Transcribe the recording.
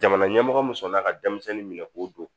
Jamana ɲɛmɔgɔ musola ka denmisɛnnin minɛ k'o don